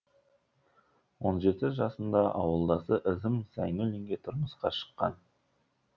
он жеті жасында ауылдасы ізім зайнуллинге тұрмысқа шыққан